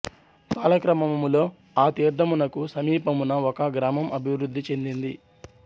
కాలక్రమములో ఆ తీర్థమునకు సమీపమున ఒక గ్రామం అభివృద్ధి చెందినది